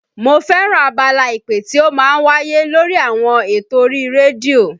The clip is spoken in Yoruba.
Mo fẹ́ràn abala ìpè tí ó máa ń wáyé lórí àwọn eto orí rédíò